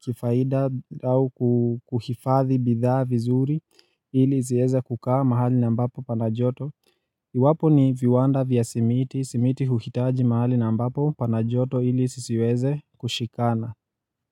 kifaida au kuhifadhi bidhaa vizuri ili ziweze kukaa mahali na ambapo pana joto Iwapo ni viwanda vya simiti, simiti huhitaji mahali na ambapo pana joto ili zisiweze kushikana.